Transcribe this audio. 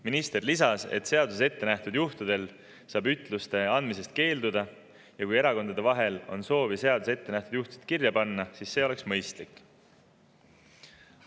Minister lisas, et seaduses ette nähtud juhtudel saab ütluste andmisest keelduda, ja kui erakonnad soovivad seadusesse neid juhtusid kirja panna, siis see oleks mõistlik.